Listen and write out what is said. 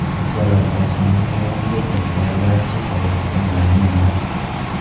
Mirjalol Qosimovning o‘rniga kim tayinlanishi hozircha ma’lum emas.